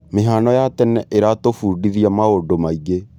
Mĩhano ya tene ĩratũbundithia maũndũ maingĩ.